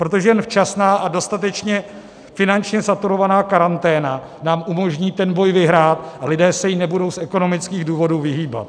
Protože jen včasná a dostatečně finančně saturovaná karanténa nám umožní ten boj vyhrát a lidé se jí nebudou z ekonomických důvodů vyhýbat.